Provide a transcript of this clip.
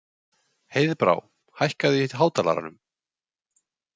Heiðbrá, hækkaðu í hátalaranum.